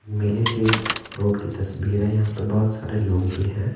मेले के रोड की तस्वीर हैं यहाँ पे बहुत सारे लोग भी हैं।